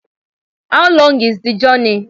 How long is the journey?